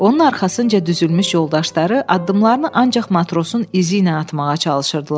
Onun arxasınca düzülmüş yoldaşları addımlarını ancaq matrosun izi ilə atmağa çalışırdılar.